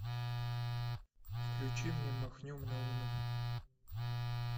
включи мне махнем на луну